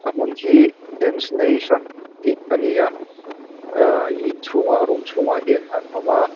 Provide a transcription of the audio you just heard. a hmun hi dance nation tih ani a ahh inchhungah room chhungah hian an awm a.